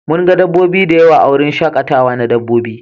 Mun ga dabbobi da yawa a wurin shakatawa na dabbobi.